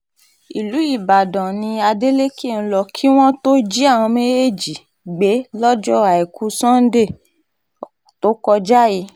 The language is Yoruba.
ìlú ìbàdàn ni adeleke ń lò kí wọ́n tóó jí àwọn méjèèjì gbé lọ́jọ́ àìkú sannde tó kọjá yìí